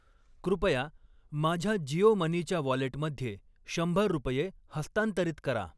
कृपया माझ्या जिओ मनीच्या वॉलेटमध्ये शंभर रुपये हस्तांतरित करा.